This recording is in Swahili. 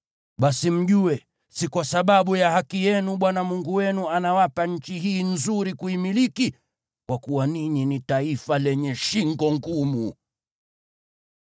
Basi mjue, si kwa sababu ya haki yenu Bwana Mungu wenu anawapa nchi hii nzuri kuimiliki, kwa kuwa ninyi ni taifa lenye shingo ngumu.